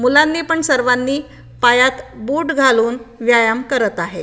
मुलांनी पण सर्वांनी पायात बूट घालून व्यायाम करत आहे.